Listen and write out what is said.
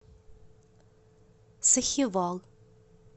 сахивал